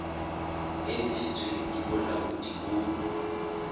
e ntshitsweng ke bolaodi bo